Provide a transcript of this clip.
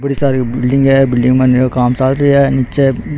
बड़ी सारी बिलडिंग है मंजिल का काम चाल रो है नीच --